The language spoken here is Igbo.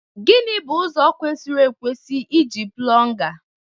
Gịnị bụ ụzọ kwesịrị ekwesị iji plunga?